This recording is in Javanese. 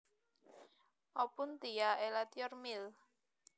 Opuntia elatior Mill